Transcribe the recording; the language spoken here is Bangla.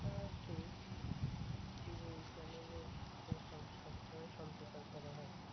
তাও ঠিক TV channel তো সব~ সবসময় সম্প্রচার করা হয়।